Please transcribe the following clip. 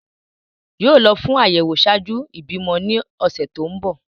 Yoo lọ fun ayẹwo ṣạaju ibimọ ni ọsẹ ti ǹ bọ.